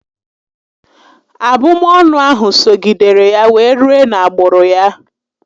Abụmọnụ ahụ sogidere ya wee rue na agbụrụ ya